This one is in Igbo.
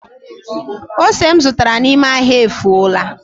Ose m zụtara n’ime ahịa efuola